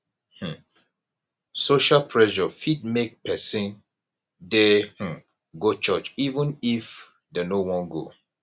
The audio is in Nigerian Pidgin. um social pressure fit make person dey um go church even if dem no wan go